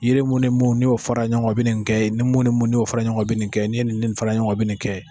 Yiri mun ni minnu ni y'o fɔra ɲɔgɔn bɛ kan o bɛ nin kɛ ni mun ni mun n'i y'o fara ɲɔgɔn kan o bɛ nin kɛ n'i ye nin ni nin fara ɲɔgɔn kan o bɛ nin kɛ